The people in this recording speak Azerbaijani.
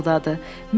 Qustav pıçıldadı.